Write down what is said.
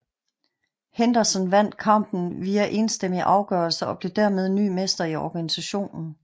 Henderson vandt kampen via enstemmig afgørelse og blev dermed ny mester i organisationen